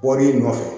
Bɔl'i nɔfɛ